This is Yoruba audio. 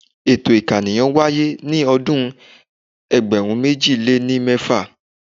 Ètò ìkànìyàn wáyé ní ọdún ẹgbẹ̀rún méjì lé ní mẹ́fà.